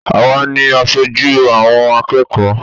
Àwa ni asojú àwọn akẹ́kọ̀ọ́